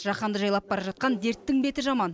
жаһанды жайлап бара жатқан дерттің беті жаман